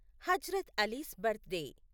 Hazrat Ali's birthday